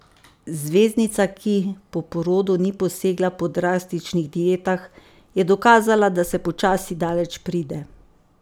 Zvezdnica, ki po porodu ni posegla po drastičnih dietah, je dokazala, da se počasi daleč pride.